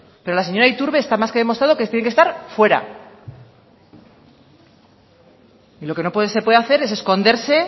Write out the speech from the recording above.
pero la señora iturbe está más que demostrado que se tiene que estar fuera y lo que no se puede hacer es esconderse